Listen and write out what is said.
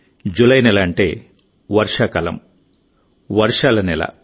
July నెల అంటే వర్షాకాలం వర్షాల నెల